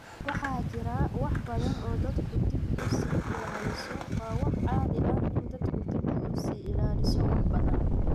Waxaa jira wax badan oo dadku dib u sii ilaaliso. Waa wax caadi ah in dadku dib u sii ilaaliso wax badan.